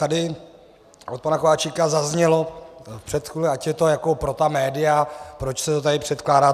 Tady od pana Kováčika zaznělo před chvílí, ať je to jako pro ta média, proč se to tady předkládá.